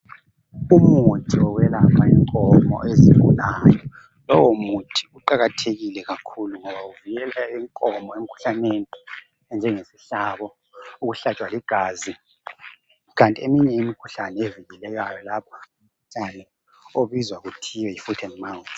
Umuthi wokwelapha inkomo ezigulayo, lowomuthi kuqakathekile kakhulu ngoba uvikela inkomo emkhuhlaneni enjengesihlabo, ukuhlatshwa ligazi. Kanti eminye imikhuhlane evikelekayo obizwa kuthiwa yoFoot and mouth.